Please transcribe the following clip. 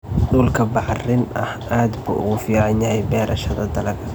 Dhulka bacrin ah aad buu ugu fiican yahay beerashada dalagga.